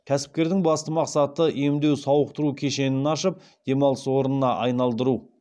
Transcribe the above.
кәсіпкердің басты мақсаты емдеу сауықтыру кешенін ашып демалыс орнына айналдыру